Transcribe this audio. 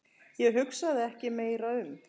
Ég hugsaði ekki meira um